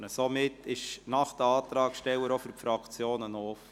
Somit ist die Debatte nach den Antragstellern auch für die Fraktionen offen.